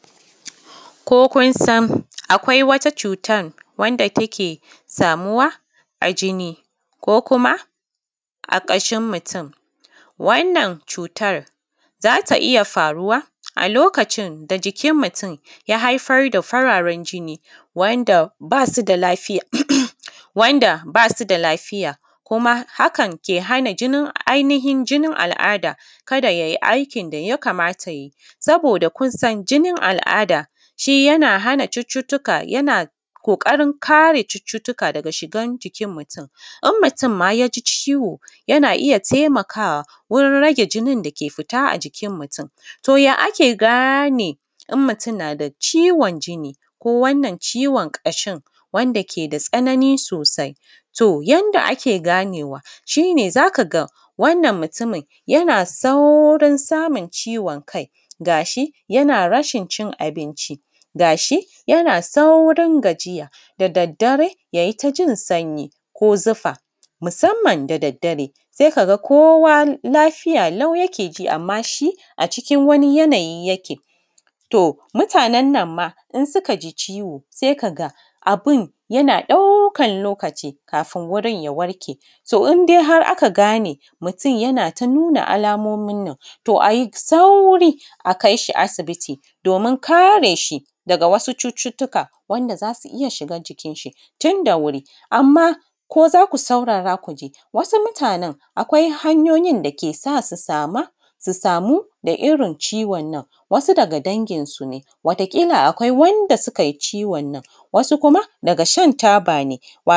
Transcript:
Ko kun san akwai wata cutan da take samuwa a jini ko kuma a ƙashin mutum. Wannan cutar za ta iya faruwa a lokacin da jikin mutum ya haifar da fararen jini wanda ba su da lafiya kuma haka ke hana ainihin jinin al’ada ka da ya yi aikin da ya kamata ya yi. Saboda kun san jinin al’ada shi yana hana cututttuka, yana ƙoƙarin kare cututtuka daga shigan jikin mutum, in mutum ma ya ji ciwo yana iya taimakawa wurin rage jinin da ke fita a jikin mutum. To, ya ake gane in mutum na da ciwon jini ko wannan ciwon kashin wanda ke da tsanani sosai? To, yanda ake ganewa shi ne za ka ga wannan mutumin yana saurin samun ciwon kai ga shi yana rashin cin abinci ga shi yana saurin gajiya da daddare, ya yi ta jin sanyi ko zufa musamman da daddare sai ka ga kowa lafiya lau yake ji amma shi a cikin wani yanayi yake, to mutanen nan ma in suka ji ciwo sai ka ga abun yana ɗaukan lokaci kafun wurin ya warke. To, in dai har aka gane mutum yana ta nuna alamomin nan to a yi sauri a kai shi asibiti domin kare shi daga wasu cututtuka wanda za su iya shiga cikin shi tunda wuri. Amma ko za ku saurara ku ji wasu mutanen akwai hanyoyin da ke sa su samu daga irin ciwon nan? Wasu daga danginsu ne wataƙila akwai wanda suka yi ciwon nan, wasu kuma daga shan taba ne wato.